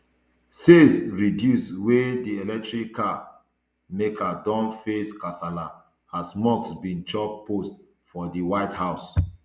sales reduce wia di electric car maker don face kasala as musk bin chop post for di white house